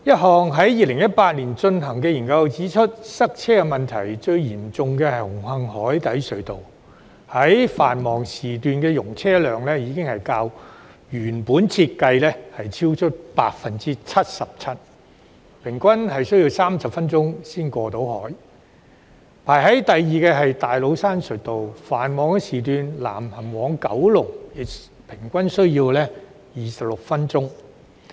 在2018年進行的一項研究指出，塞車問題最嚴重的是紅磡海底隧道，其繁忙時段的容車量已較原定設計超出 77%， 車輛平均需要30分鐘才能過海；第二位是大老山隧道，在繁忙時段，車輛南行往九龍平均需要26分鐘。